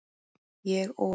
Ég og